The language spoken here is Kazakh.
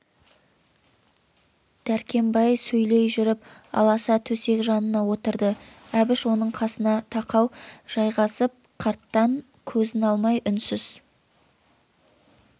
дәркембай сөйлей жүріп аласа төсек жанына отырды әбіш оның қасына тақау жайғасып қарттаң көзін алмай үнсіз